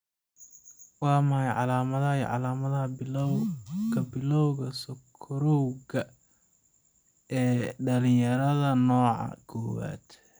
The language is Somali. Waa maxay calamadaha iyo calaamadaha Bilawga Bilawga sokorowga ee dhalinyarada, nooca kowaad?